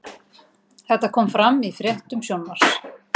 Þetta kom fram í fréttum Sjónvarps